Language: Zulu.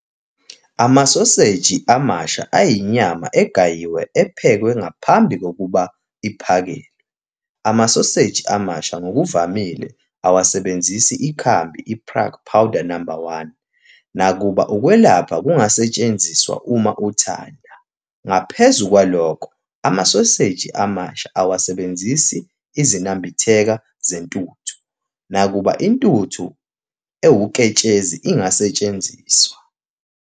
Amasoseji amasha ayinyama egayiwe ephekwe ngaphambi kokuphakelwa. Amasoseji amasha ngokuvamile awasebenzisi ikhambi, i-Prague powder number 1, nakuba ukwelapha kungasetshenziswa uma uthanda. Ngaphezu kwalokho amasoseji amasha awasebenzisi izinambitheka zentuthu, nakuba intuthu ewuketshezi ingasetshenziswa.